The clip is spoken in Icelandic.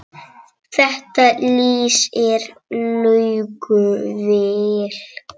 Þetta lýsir Laugu vel.